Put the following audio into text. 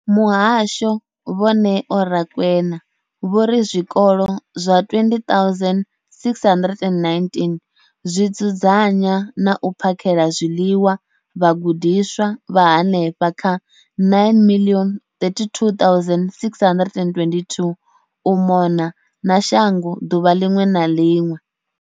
Muhasho, Vho Neo Rakwena, vho ri zwikolo zwa 20 619 zwi dzudzanya na u phakhela zwiḽiwa vhagudiswa vha henefha kha 9 032 622 u mona na shango ḓuvha ḽiṅwe na ḽiṅwe.